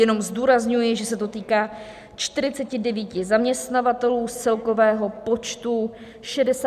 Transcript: Jenom zdůrazňuji, že se to týká 49 zaměstnavatelů z celkového počtu 67 613 firem.